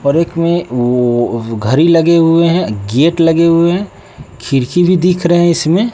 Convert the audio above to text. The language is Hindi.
और एक में वो घड़ी लगे हुए हैं गेट लगे हुए है खिड़की भी दिख रहे हैं इसमें।